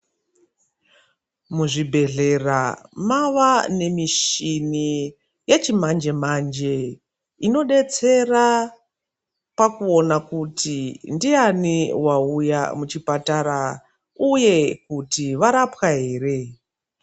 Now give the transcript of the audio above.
Muzvibhendlera mwava nemichini yechimanje manje inodetsera pakuona kuti ndiani wauya muchipatara uye kuti warapwa here.